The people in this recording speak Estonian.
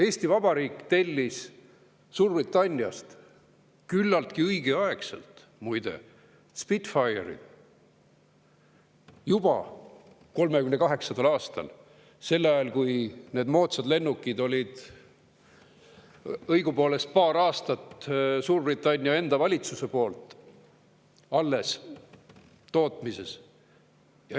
Eesti Vabariik tellis Suurbritanniast, küllaltki õigeaegselt, muide, Spitfire'id juba 1938. aastal, sel ajal, kui need moodsad lennukid olid õigupoolest paar aastat Suurbritannia enda valitsuse alles tootmises olnud.